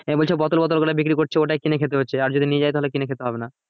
নিয়ে বলছে বোতল বোতল ওখানে বিক্রি করছে ওইটাই কিনে খেতে হচ্ছে আর যদি নিয়ে যাই তাহলে কিনে খেতে হবে না